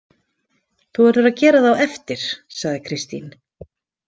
Þú verður að gera það á eftir, sagði Kristín.